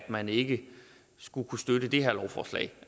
man ikke skulle kunne støtte det her lovforslag